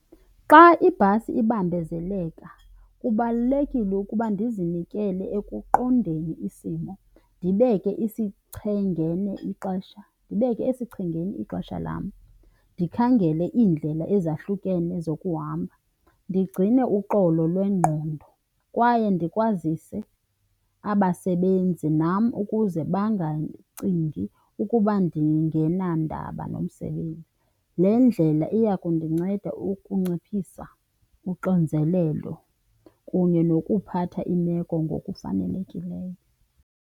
Xa ibhasi ibambezeleka kubalulekile ukuba ndizinikele ekuqondeni isimo, ndibeke esichengeni ixesha lam, ndikhangele iindlela ezahlukene zokuhamba, ndigcine uxolo lwengqondo kwaye ndikwazise abasebenzi nam ukuze bangacingi ukuba ndingenandaba nomsebenzi. Le ndlela iya kundinceda ukunciphisa uxinzelelo kunye nokuphatha imeko ngokufanelekileyo.